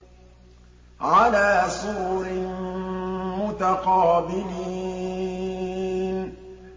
عَلَىٰ سُرُرٍ مُّتَقَابِلِينَ